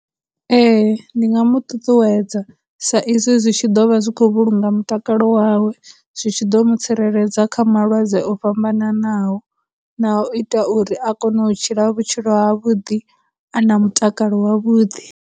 Ee, ndi nga mu ṱuṱuwedza, sa izwi zwi tshi ḓo vha zwi khou vhulunga mutakalo wawe, zwi tshi ḓo vha mu tsireledza kha malwadze o fhambananaho, na u ita uri a kone u tshila vhutshilo ha vhuḓi, a na mutakalo wavhuḓi.